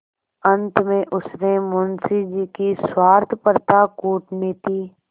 अंत में उसने मुंशी जी की स्वार्थपरता कूटनीति